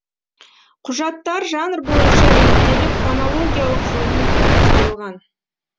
құжаттар жанр бойынша реттеліп хронологиялық жүйемен топтастырылған